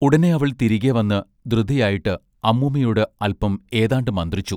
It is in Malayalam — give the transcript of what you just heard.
ഉടനെ അവൾ തിരികെ വന്ന് ധൃതിയായിട്ട് അമ്മൂമ്മയോട് അല്പം ഏതാണ്ട് മന്ത്രിച്ചു.